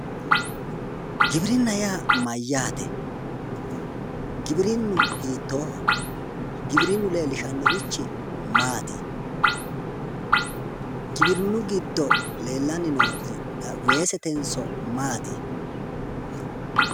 Giwirinna yaa mayyaate? giwirinnu hiittooho? giwirinnu leellishannorichi maati? giwirinnu giddo leellanni noori weesetenso maati?